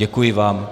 Děkuji vám.